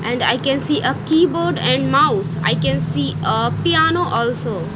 And i can see a keyboard and mouse I can see a piano also.